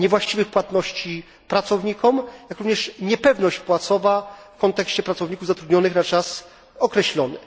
niewłaściwych płatności pracownikom, jak również niepewność płacowa dotycząca pracowników zatrudnionych na czas określony.